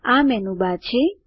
આ મેનુબર છે